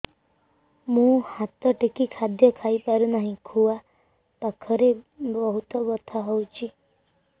ମୁ ହାତ ଟେକି ଖାଦ୍ୟ ଖାଇପାରୁନାହିଁ ଖୁଆ ପାଖରେ ବହୁତ ବଥା ହଉଚି